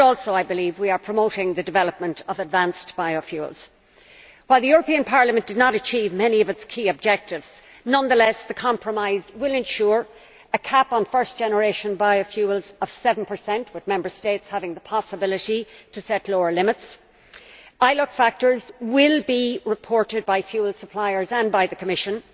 I believe that we are also promoting the development of advanced biofuels. While the European Parliament did not achieve many of its key objectives, nonetheless the compromise will ensure a cap on first generation biofuels of 7, with Member States having the possibility to set lower limits. Indirect land use change factors will be reported by fuel suppliers and by the Commission